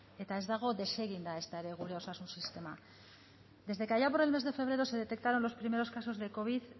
eta ez dago deseginda ezta ere gure osasun sisteman desde que allá por el mes de febrero se detectaron los primeros casos de covid